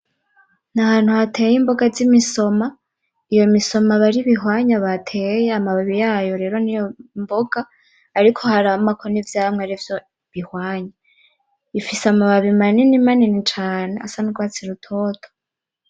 Ni ahantu hateye imboga z'imisoma, iyo misoma aba ari ibihwanya bateye amababi yayo rero niyo mboga, ariko haramako n'ivyamwa arivyo bihwanya, bifise amababi manini manini cane asa n'urwatsi rutoto.